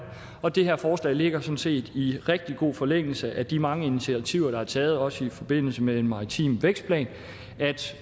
og det her forslag ligger sådan set i rigtig god forlængelse af de mange initiativer der er taget også i forbindelse med en maritim vækstplan